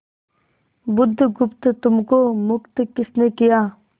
बुधगुप्त तुमको मुक्त किसने किया